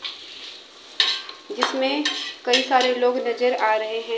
जिसमे कई सारे लोग नजर आ रहे हैं।